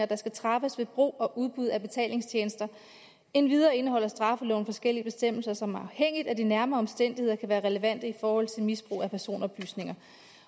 der skal træffes ved brug og udbud af betalingstjenester endvidere indeholder straffeloven forskellige bestemmelser som afhængigt af de nærmere omstændigheder kan være relevante i forhold til misbrug af personoplysninger